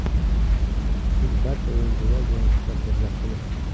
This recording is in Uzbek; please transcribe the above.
Biz barcha o‘yinchilar bilan suhbatlashmoqchimiz.